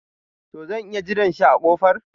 To zan iya jiran shi a kofan.